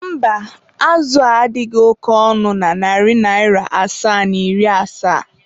mba, azụ a adịghị oke ọnụ na narị naịra asaa na iri asaa.